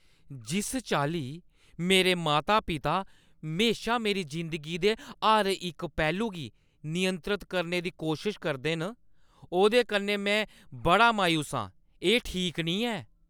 जिस चाल्ली मेरे माता-पिता म्हेशां मेरी जिंदगी दे हर इक पैह्‌लू गी नियंत्रत करने दी कोशश करदे न, ओह्दे कन्नै में बड़ी मायूस आं। एह् ठीक निं ऐ।